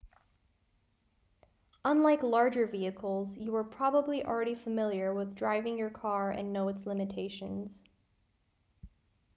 unlike larger vehicles you are probably already familiar with driving your car and know its limitations